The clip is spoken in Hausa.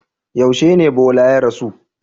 Yaushe ne Bola ya rasu?